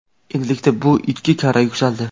endilikda bu ikki karra yuksaldi.